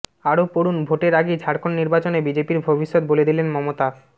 আরও পড়ুন ভোটের আগেই ঝাড়খণ্ড নির্বাচনে বিজেপির ভবিষ্যৎ বলে দিলেন মমতা